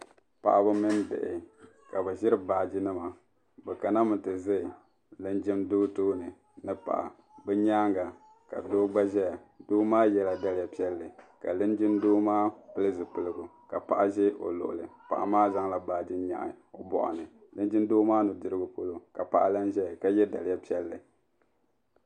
Paɣaba mini bihi ka bi ʒiri baaginima bɛ kana mi ti ʒe linjindoo tooni ni paɣa bɛ nyaaŋa ka doo gba ʒeya doo maa yela daliya piɛlli ka linjindoo maa pili zipiligu ka paɣa ʒe o luɣuli paɣa maa zaŋla baagi nyahi o bɔɣu ni linjindoo maa nudirigu polo ka paɣa lan ʒeya ka ye daliya piɛlli.